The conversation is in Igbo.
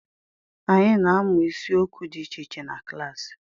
Anyị na-amụ isiokwu dị iche iche na klaasi.